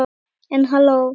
En halló.